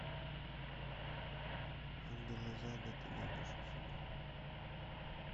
ангел из ада ты найдешь у себя